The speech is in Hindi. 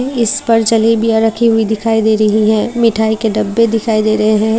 इस पर जलेबियां रखी हुई दिखाई दे रही हैं मिठाई के डब्बे दिखाई दे रहे हैं।